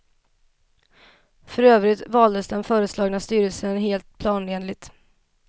För övrigt valdes den föreslagna styrelsen helt planenligt.